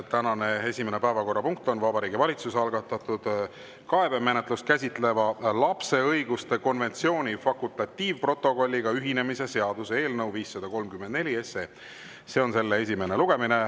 Tänane esimene päevakorrapunkt on Vabariigi Valitsuse algatatud kaebemenetlust käsitleva lapse õiguste konventsiooni fakultatiivprotokolliga ühinemise seaduse eelnõu 534 esimene lugemine.